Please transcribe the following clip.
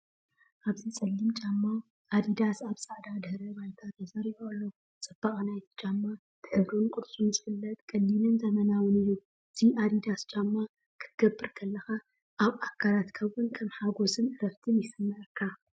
ኣብዚ ጸሊም ጫማ ኣዲዳስ ኣብ ጻዕዳ ድሕረ ባይታ ተሰሪዑ ኣሎ። ጽባቐ ናይቲ ጫማ ብሕብሩን ቅርጹን ይፍለጥ፤ ቀሊልን ዘመናውን እዩ። እዚ ኣዲዳስ ጫማ ክትገብር ከለካ ኣብ ኣካላትና እውን ከም ሓጎስን ዕረፍትን ይስመዓካ።